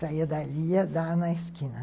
Saia dali e ia dar na esquina.